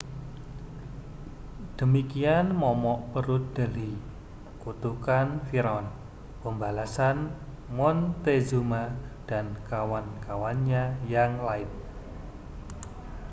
demikian momok perut delhi kutukan firaun pembalasan montezuma dan kawan-kawannya yang lain